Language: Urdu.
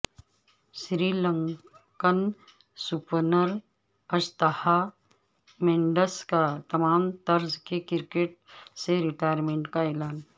سری لنکن سپنر اجنتھا مینڈس کا تمام طرز کی کرکٹ سے ریٹائرمنٹ کا اعلان